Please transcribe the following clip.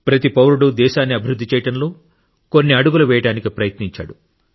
ప్రతి పౌరుడు దేశాన్ని అభివృద్ధి చేయడంలో కొన్ని అడుగులు వేయడానికి ప్రయత్నించాడు